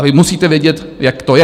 A vy musíte vědět, jak to je.